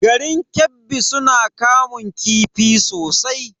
Garin Kebbi suna kamun kifi sosai.